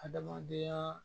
Adamadenya